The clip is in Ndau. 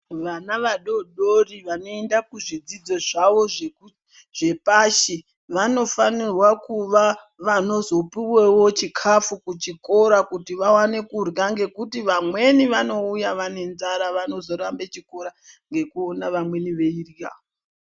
Vana vadodori vanoenda kuzvidzidzo zvavo zvepashi vanofanirwa kuvanozopuvevo chikafu kuchikora kuti vaone kurya. Ngekuti vamweni vanouya vanenzara vanozorambe chikora ngekuona vamweni veirya.